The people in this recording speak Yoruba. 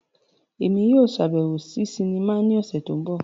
Emi yóò ṣabẹwo si sinima ni ọsẹ ti n bọ.